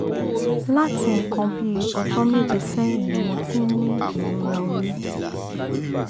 láti nǹkan bí ọjọ́ méje sẹ́yìn ni mo ti ń ní ìrora orí